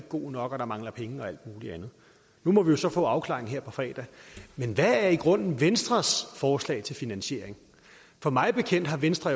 god nok at der mangler penge og alt muligt andet nu må vi så få afklaringen her på fredag men hvad er i grunden venstres forslag til finansiering for mig bekendt har venstre